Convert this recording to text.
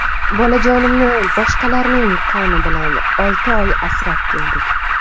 Bolajonimni boshqalarning qoni bilan olti oy asrab keldik.